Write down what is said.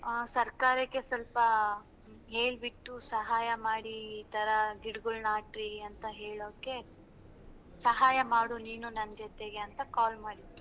ಸರ್ಕಾರಕ್ಕೆ ಸ್ವಲ್ಪ ಹೇಳ್ಬಿಟ್ಟು ಸಹಾಯ ಮಾಡಿ ಈತರ ಗಿಡ್ಗೋಳ್ನ ಹಾಕ್ರಿ ಅಂತ ಹೇಳೋಕೆ ಸಹಾಯ ಮಾಡು ನೀನು ನಂಜೊತೆಗೆ ಅಂತ call ಮಾಡಿದ್ದು.